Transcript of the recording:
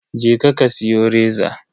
Je ka ka siyo reza.